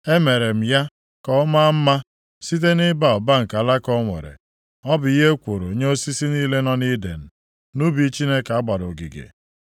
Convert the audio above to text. Emere m ya ka ọ maa mma site nʼịba ụba nke alaka o nwere, ọ bụ ihe ekworo nye osisi niile nọ nʼIden nʼubi Chineke a gbara ogige.